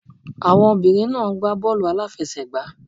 Àwọn obìnrin náà ń gbá bọ́ọ̀lù a lá fẹ sẹ̀ gbá.